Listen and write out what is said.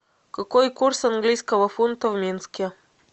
какой курс английского фунта в минске